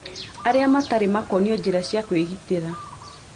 Arĩa matarĩ makonio njĩra cia kũĩgitĩra